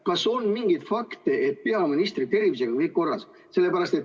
Kas on mingeid fakte, et peaministri tervisega pole kõik korras?